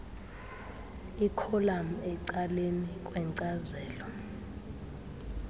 ikholam ecaleni kwenkcazelo